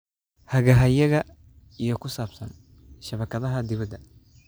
Hagahayaga iyo ku saabsan shabakadaha dibadda.